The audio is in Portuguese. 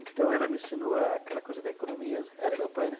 Então ela me ensinou aquela coisa da economia, ela e meu pai, né?